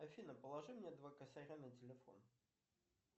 афина положи мне два косаря на телефон